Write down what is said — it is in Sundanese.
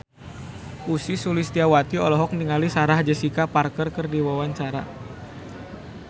Ussy Sulistyawati olohok ningali Sarah Jessica Parker keur diwawancara